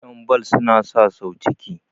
yanbal suna sa sau ciki